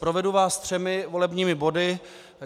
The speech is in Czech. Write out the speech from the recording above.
Provedu vás třemi volebními body.